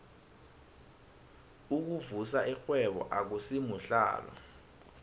ukuvusa irhwebo akusimuhlalo